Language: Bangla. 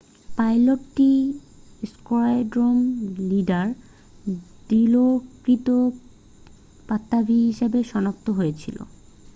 পাইলটটি স্কোয়াড্রন লিডার দিলোকৃত পাত্তাভী হিসেবে শনাক্ত হয়েছিল